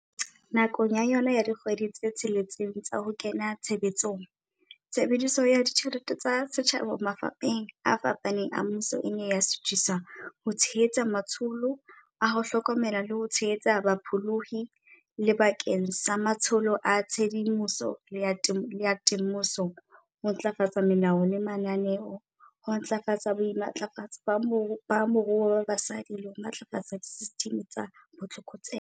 Nakong ya yona ya dikgwedi tse tsheletseng tsa ho kena tshebetsong, tshebediso ya ditjhelete tsa setjhaba mafapheng a fapaneng a mmuso e ne ya suthiswa ho tshe-hetsa matsholo a ho hlokomela le ho tshehetsa bapholohi, le bakeng sa matsholo a tshedimoso le a te-moso, ho ntlafatsa melao le mananeo, ho ntlafatsa boimatlafatso ba moruo ba basadi le ho matlafatsa disesitimi tsa botlokotsebe.